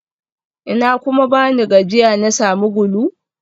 Ina kuma bani gajiya na sami gulu?